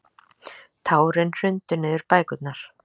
Tárin hrundu niður á bækurnar.